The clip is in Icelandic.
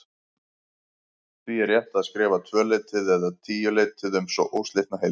Því er rétt að skrifa tvöleytið eða tíuleytið sem óslitna heild.